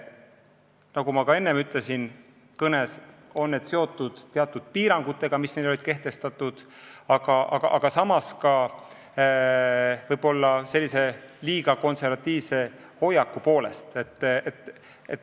Nagu ma ka enne kõnes ütlesin, on see seotud piirangutega, mis olid kehtestatud, aga võib-olla on see seotud ka liiga konservatiivse hoiakuga.